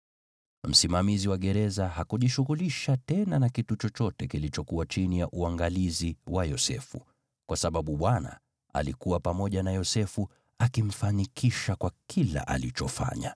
Msimamizi wa gereza hakujishughulisha tena na kitu chochote kilichokuwa chini ya uangalizi wa Yosefu, kwa sababu Bwana alikuwa pamoja na Yosefu akimfanikisha kwa kila alichofanya.